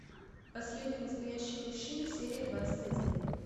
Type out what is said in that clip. последний настоящий мужчина серия двадцать один